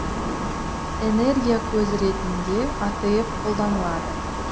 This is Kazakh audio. энергия көзі ретінде атф қолданылады